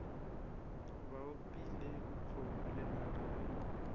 ba opile kgomo lenaka ge